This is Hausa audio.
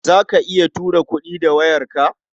Za ka iya tura kuɗi da wayarka?